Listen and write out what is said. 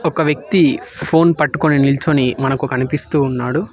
ఒక వ్యక్తి ఫోన్ పట్టుకొని నిల్చోని మనకు కనిపిస్తూ ఉన్నాడు.